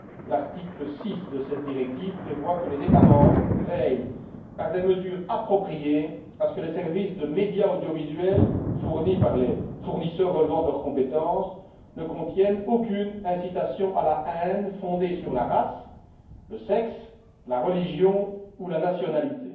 L'article 6 de cette directive prévoit que les États membres veillent, par des mesures appropriées, à ce que les services de médias audiovisuels fournis par les fournisseurs relevant de leur compétence ne contiennent aucune incitation à la haine fondée sur la race, le sexe, la religion ou la nationalité.